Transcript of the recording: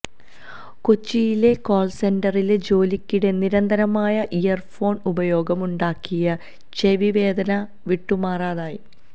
കൊച്ചിയിലെ കോൾ സെന്ററിലെ ജോലിക്കിടെ നിരന്തരമായ ഇയർ ഫോൺ ഉപയോഗം ഉണ്ടാക്കിയ ചെവി വേദന വിട്ടുമാറാതായി